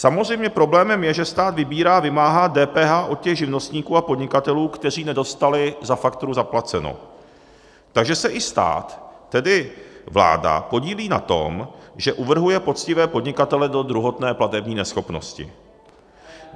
Samozřejmě problémem je, že stát vybírá a vymáhá DPH od těch živnostníků a podnikatelů, kteří nedostali za fakturu zaplaceno, takže se i stát, tedy vláda, podílí na tom, že uvrhuje poctivé podnikatele do druhotné platební neschopnosti.